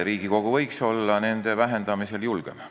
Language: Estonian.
Riigikogu võiks olla aktsiiside vähendamisel julgem.